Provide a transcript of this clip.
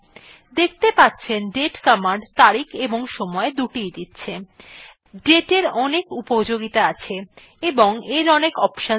দেখতে পাচ্ছেন date command তারিখ এবং সময় দুটিis দিচ্ছে dateএর অনেক উপযোগিতা আছে এবং এর অনেক অপশন রয়েছে